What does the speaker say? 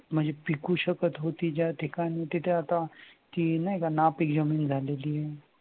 म्हणजे पिकु शकत होती ज्या ठिकाणी तिथे आता ती नाही का नापिक जमीन झालेली